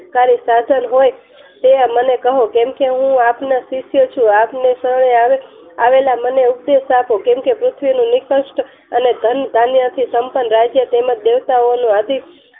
કરી સાધન હોય તે મને કહો કેમ કે હું આપનો શિષ્ય છું આપને શરણે આવેલા મને ઉપદેશ આપો કેમ કે પૃથ્વી નું નિકસ્ત અને ધન્ય થી સંપન્ન રાજ્ય તેમજ દેવતાઓનું આદિ